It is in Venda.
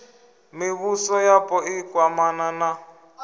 mivhuso yapo i kwamana na